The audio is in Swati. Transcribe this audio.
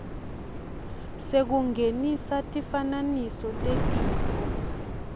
sekungenisa tifananiso tetifo